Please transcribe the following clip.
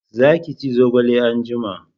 Za ki ci zogale anjima!